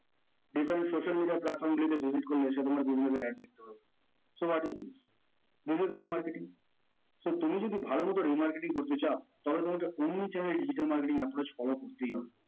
social media platform visit করলে সে তোমার google এর ad দেখতে পারবে, so what is this this is remarketing so তুমি যদি ভালো মতো remarketing করতে চাও তাহলে তোমাকে omni channel এ digital marketing approach follow করতে হবে